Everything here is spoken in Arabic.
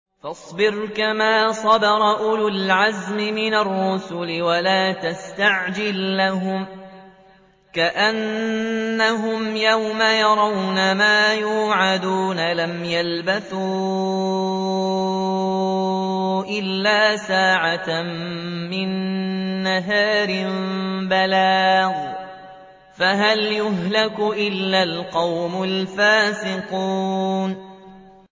فَاصْبِرْ كَمَا صَبَرَ أُولُو الْعَزْمِ مِنَ الرُّسُلِ وَلَا تَسْتَعْجِل لَّهُمْ ۚ كَأَنَّهُمْ يَوْمَ يَرَوْنَ مَا يُوعَدُونَ لَمْ يَلْبَثُوا إِلَّا سَاعَةً مِّن نَّهَارٍ ۚ بَلَاغٌ ۚ فَهَلْ يُهْلَكُ إِلَّا الْقَوْمُ الْفَاسِقُونَ